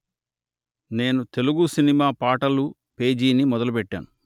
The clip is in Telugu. నేను తెలుగు సినిమా పాటలు పేజీని మొదలు పెట్టాను